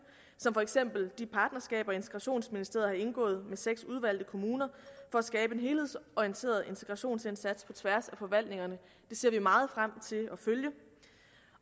som for eksempel de partnerskaber integrationsministeriet har indgået med seks udvalgte kommuner for at skabe en helhedsorienteret integrationsindsats på tværs af forvaltningerne det ser vi meget frem til at følge